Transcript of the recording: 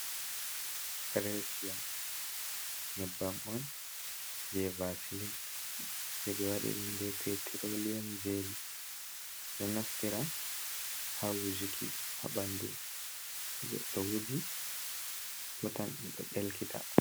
Gresia nyebbam on je vasili jebe wadi dum be petrolion jeli, do naftira ha wujuki ha ɓandu, to goddo wuji hutan o ɗo delkita.